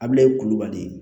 Abilaye kulubali